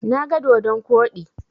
Na ga dodon koɗi.